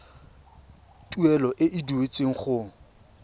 tuelo e e duetsweng go